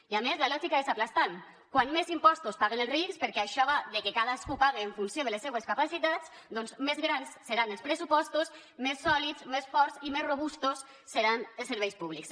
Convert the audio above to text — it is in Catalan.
i a més la lògica és aclaparadora com més impostos paguen els rics perquè això va de que cadascú paga en funció de les seues capacitats doncs més grans seran els pressupostos més sòlids més forts i més robustos seran els serveis públics